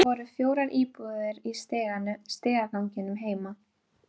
Knerri en vegur Guðmundar var þá enn mikill.